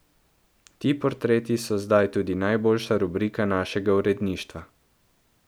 Ti portreti so zdaj tudi najljubša rubrika našega uredništva.